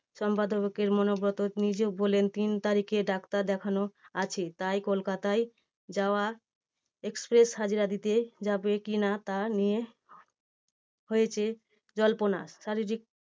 সংবাদদাতাকে অনুব্রত নিজে বললেন তিন তারিখে ডাক্তার দেখানো আছে তাই কলকাতায় যাওয়া express হাজিরা দিতে যাবে কি না তা নিয়ে হয়েছে জল্পনা। শারীরিক